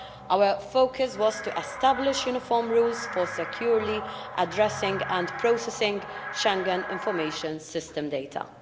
Our focus was to establish uniform rules for securely addressing and processing Schengen Information System data.